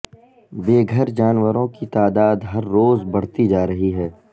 بے گھر جانوروں کی تعداد ہر روز بڑھتی جا رہی ہے